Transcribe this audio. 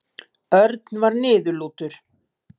Örn var niðurlútur.